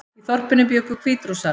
Í þorpinu bjuggu Hvítrússar